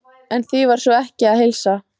En því var sko ekki að heilsa.